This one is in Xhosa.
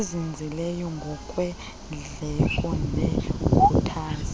ezinzileyo ngokweendleko nekhuthaza